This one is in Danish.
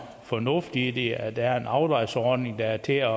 fornuft i det altså at der er en afdragsordning der er til at